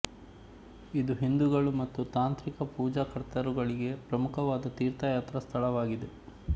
ಇದು ಹಿಂದೂಗಳು ಮತ್ತು ತಾಂತ್ರಿಕ ಪೂಜಾಕರ್ತರುಗಳಿಗೆ ಪ್ರಮುಖವಾದ ತೀರ್ಥಯಾತ್ರಾ ಸ್ಥಳವಾಗಿದೆ